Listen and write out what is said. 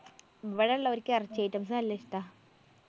ഇവടെ എല്ലാർക്കും എറച്ചി items നല്ല ഇഷ്ട്ടാ.